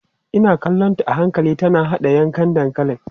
Ina kallonta a hankali tana haɗa yankan dankalin.